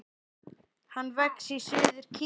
Hann vex í suður Kína.